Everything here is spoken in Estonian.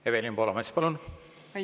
Evelin Poolamets, palun!